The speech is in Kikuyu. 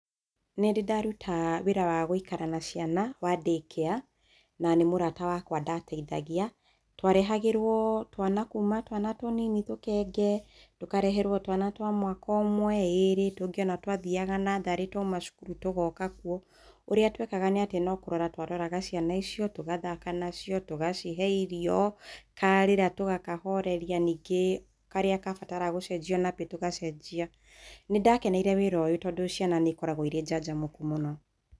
Nĩndĩ ndaruta wĩra wa gũikara na cĩana wa daycare, na nĩ mũrata wakwa ndateithagia. Twarehagĩrwo twana kuuma twana tũnini tũkenge, tũkareherwo twana twa mwaka ũmwe, ĩrĩ, tongĩ ũnatwathiaga natharĩ twauma cukuru tũgoka kuo. Ũrĩa twekaga nĩ atĩ nĩkũrora twaroraga cĩana icio tũgathaka nacio, tugacihe irio, karĩra tũgakahoreria ningĩ karĩa kabatara gũcenjio nabĩ tũgacenjia. Nĩndakeneire wĩra ũyũ tondũ ciana nĩikoragwo irĩ jajamũku mũno.